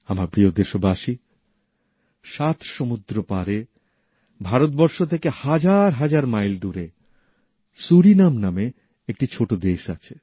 আমার প্রিয় দেশবাসী সাত সমুদ্র পারে ভারতবর্ষ থেকে হাজার হাজার মাইল দূরে সুরিনাম নামে একটি ছোট দেশ আছে